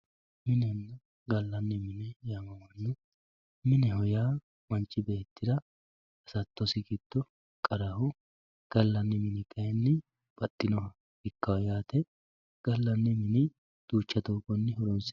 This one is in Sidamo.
minenna gallanni mine yaamamanno mineho yaa manchi beettira hasattosi giddo qaraho gallanni mini kayiinni baxxinoha ikkawoo yaate gallanni mini duuchcha doogonni horoonsi'nanniho